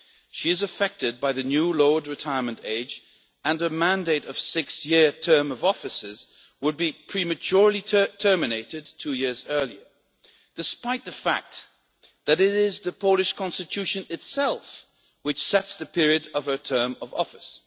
She is affected by the new lowered retirement age, and her mandate of a six year term of office would be prematurely terminated two years early, despite the fact that it is the Polish Constitution itself which sets the period of her term of office.